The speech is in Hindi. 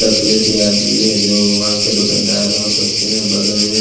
टकले से आदमी हैं जो वहां के दुकनदार हो सकते हैं बगल में--